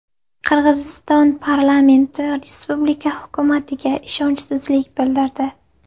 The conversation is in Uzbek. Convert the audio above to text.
Qirg‘iziston parlamenti respublika hukumatiga ishonchsizlik bildirdi.